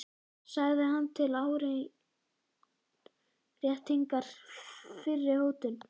sagði hann til áréttingar fyrri hótun.